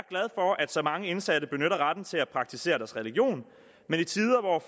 for at så mange indsatte benytter retten til at praktisere deres religion men i tider hvor